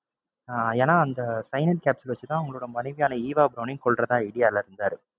அஹ் ஏன்னா அந்த cyanide capsule வச்சு தான் அவங்களோட மனைவியான ஈவா பிரௌனையும் கொல்றதா idea ல இருந்தாரு.